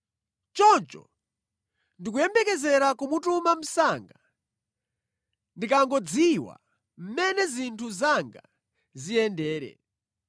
Choncho ndikuyembekezera kumutuma msanga ndikangodziwa mmene zinthu zanga ziyendere.